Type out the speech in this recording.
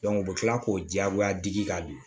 u bɛ tila k'o diyagoya digi ka bi